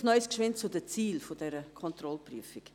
Vielleicht noch ein Wort zu den Zielen dieser Kontrollprüfung: